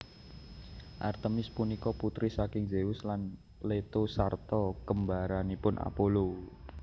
Artemis punika putri saking Zeus lan Leto sarta kembaranipun Apollo